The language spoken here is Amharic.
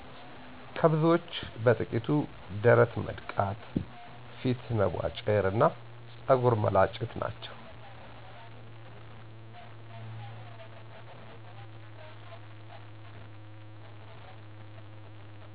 ከብዙዎቹ በጥቂቱ ደረት መድቃት፣ ፊት መቧጨር እና ፀጉር መላጨት ናቸው።